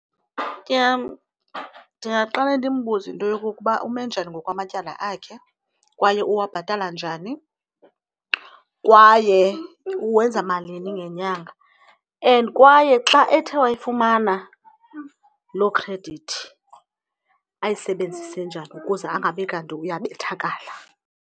Ndingaqale ndimbuze into yokokuba ume njani ngokwamatyala akhe kwaye uwabhatala njani kwaye uwenza malini ngenyanga. And kwaye xa ethe wayifumana loo khredithi ayisebenzise njani ukuze angabi kanti uyabethakala.